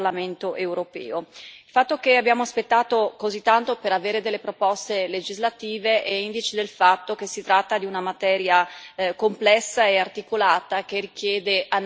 Il fatto che abbiamo aspettato così tanto per avere delle proposte legislative è indice del fatto che si tratta di una materia complessa e articolata, che richiede analisi e prudenza.